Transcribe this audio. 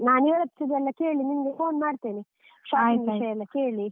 ನಾನ್ ಇವ್ರತ್ರ ಎಲ್ಲ ಕೇಳಿ ನಿಂಗೆ phone ಮಾಡ್ತೇನೆ, .